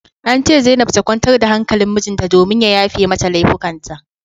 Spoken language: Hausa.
An ce zainab ta kwantar da hankalin mijinta domin ya yafe mata laifukan ta